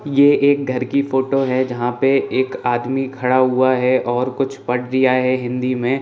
ये एक घर की फोटो है जहाँ पे एक आदमी खड़ा हुआ है और कुछ वर्ड दिया है हिन्दी में।